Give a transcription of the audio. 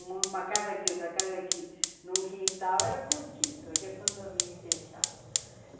Uma casa aqui, outra casa aqui, num quintal era cortiço, hoje é condomínio fechado.